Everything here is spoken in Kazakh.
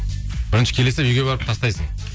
бірінші келе салып үйге барып тастайсың